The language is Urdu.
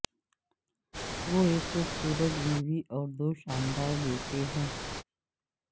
وہ ایک خوبصورت بیوی اور دو شاندار بیٹے ہیں